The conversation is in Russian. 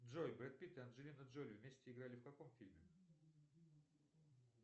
джой брэд питт и анджелина джоли вместе играли в каком фильме